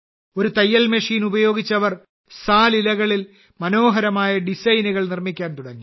ഒരു തയ്യൽ മെഷീൻ ഉപയോഗിച്ച് അവർ സാൽ ഇലകളിൽ മനോഹരമായ ഡിസൈനുകൾ നിർമ്മിക്കാൻ തുടങ്ങി